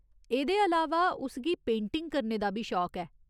एह्दे अलावा उस गी पेंटिंग करने दा बी शौक ऐ।